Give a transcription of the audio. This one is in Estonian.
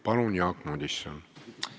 Palun, Jaak Madison!